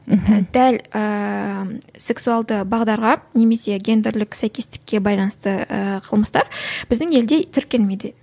мхм дәл ііі сексуалды бағдарға немесе гендерлік сәйкестікке байланысты і қылмыстар біздің елде тіркелмеді